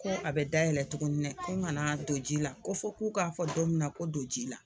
Ko a bɛ dayɛlɛn tuguni dɛ ko n kana don ji la ko fo k'u k'a fɔ don min na ko don ji la.